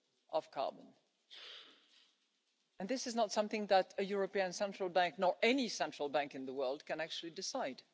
of carbon, and this is not something that a European Central Bank or any central bank in the world can actually decide.